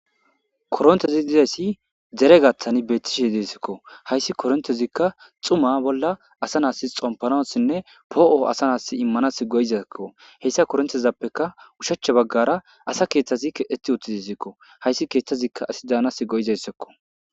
korontezi dizayssi dere gattani beettishe deesikko hayssi korontezikka xuma bolla asa naasi xompanossinne poo7o asa naas immanas goyizakko heyssa korontezappeka ushacha baggara asa keeththazi keeti uttizesikko hayssi keeththazikka asi daanas go7izayssakko